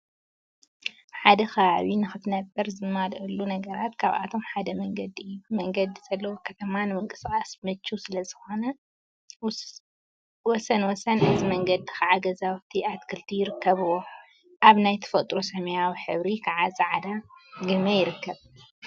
ሓደ ከባቢ ንክትነብር ዝማልእሉ ነገራት ካብአቶም ሓደ መንገዲ እዩ፡፡ መንገዲ ዘለዎ ከተማ ንምንቅስቃስ ምችው ስለ ዝከውን፤ ወሰን ወሰን እዚ መንገዲ ከዓ ገዛውቲን አትክልቲን ይርከቡዎም፡፡ አብ ናይ ተፈጥሮ ሰማያዊ ሕብሪ ከዓ ፃዕዳ ግመ ይርከብ፡፡